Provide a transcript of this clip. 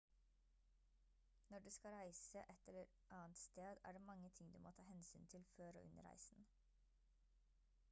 når du skal reise et eller annet sted er det mange ting du må ta hensyn til før og under reisen